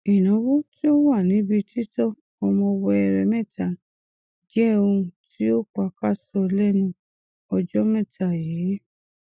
ìnáwó tí ó wà níbi títọ ọmọ wẹẹrẹ mẹta jẹ ohun tí ó pakasọ lẹnú ọjọ mẹta yìí